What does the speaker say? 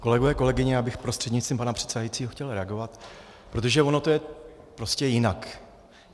Kolegové, kolegyně, já bych prostřednictvím pana předsedajícího chtěl reagovat, protože ono to je prostě jinak.